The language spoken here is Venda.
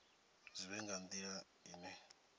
zwi vhe nga nila ine